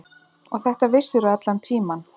Og þetta vissirðu allan tímann.